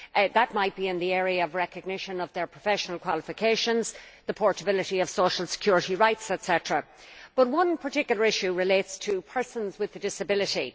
That might be in the area of recognition of their professional qualifications, the portability of social security rights etc. One particular issue relates to persons with a disability.